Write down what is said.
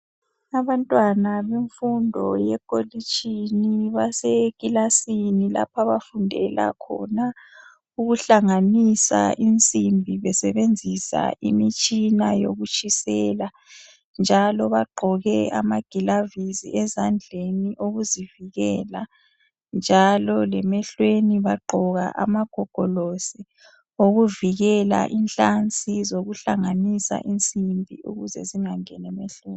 Abantwana bemfundo yekolitshini basekilasini lapho abafundela khona ukuhlanganisa imsimbi besebenzisa imitshina yokutshisela njalo bagqoke amagilavisi ezandleni okuzivikela njalo lemehlweni bagqoke amagogolosi okuvikela inhlansi ukuze zingangeni lemehlweni.